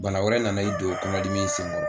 Bana wɛrɛ nana i don o kɔnɔdimi in sen kɔrɔ